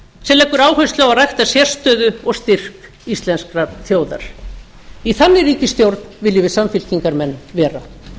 sem leggja áherslu á að rækta sérstöðu og styrk íslenskrar þjóðar í þannig ríkisstjórn viljum við samfylkingarmenn vera